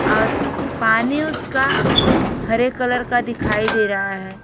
और पानी उसका हरे कलर का दिखाई दे रहा है।